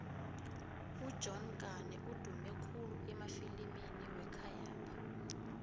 ujohn kane udume khulu emafilimini wekhayapha